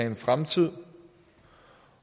en fremtid